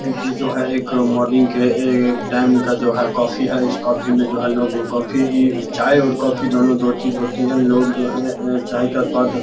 इ जो है एक मोर्निंग के टाइम का जो है कॉफ़ी है इस कॉफ़ी में जो लोग कॉफी चाय और कॉफी दोनों दो चीज होती है लोग जो है चाय का स्वाद --